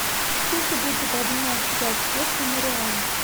сколько будет обменять пять песо на реалы